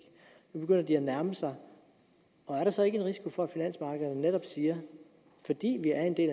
nu begynder de at nærme sig er der så ikke en risiko for at finansmarkederne netop siger fordi vi er en del